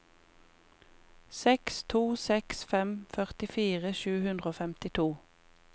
seks to seks fem førtifire sju hundre og femtito